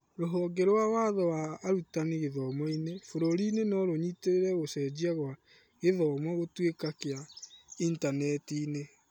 Rũhonge rwa watho wa arutani gĩthomo-inĩ bũrũri-inĩ norũnyitĩrĩre gũcenjia kwa gĩthomo gũtũĩka kĩa intaneti-inĩ ?